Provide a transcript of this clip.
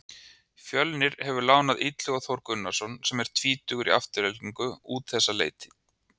Fjölnir hefur lánað Illuga Þór Gunnarsson sem er tvítugur í Aftureldingu út þessa leiktíð.